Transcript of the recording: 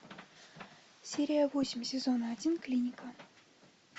серия восемь сезона один клиника